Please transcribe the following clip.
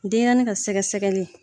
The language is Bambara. Denyɛrɛnin ka sɛgɛsɛgɛli